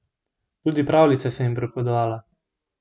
Tudi pravljice sem ji pripovedovala.